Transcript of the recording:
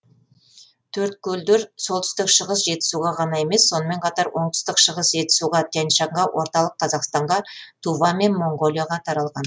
төрткөлдер солтүстік шығыс жетісуға ғана емес сонымен қатар оңтүстік шығыс жетісуға тянь шаньға орталық қазақстанға тува мен моңғолияға таралған